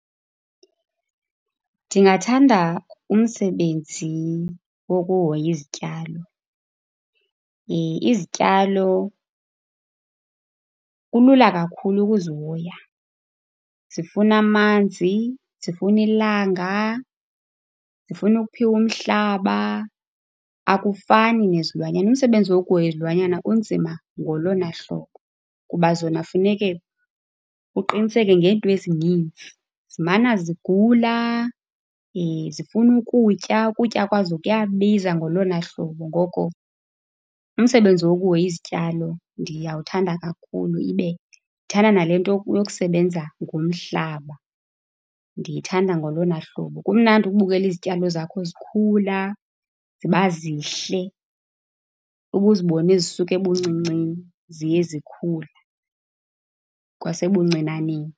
Ndingathanda umsebenzi wokuhoya izityalo. Izityalo, kulula kakhulu ukuzihoya. Zifuna amanzi, zifuna ilanga, zifuna ukuphiwa umhlaba, akufani nezilwanyana. Umsebenzi wokuhoya izilwanyana unzima ngolona hlobo kuba zona funeke uqiniseke ngeento ezinintsi. Zimana zigula, zifuna ukutya. Ukutya kwazo kuyabiza ngolona hlobo, ngoko umsebenzi wokuhoya izityalo ndiyawuthanda kakhulu. Ibe ndithanda nale nto yokusebenza ngomhlaba, ndiyithanda ngolona hlobo. Kumnandi ukubukela izityalo zakho zikhula ziba zihle, ube uzibone zisuka ebuncincini ziye zikhula kwasebuncinaneni.